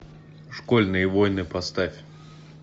школьные войны поставь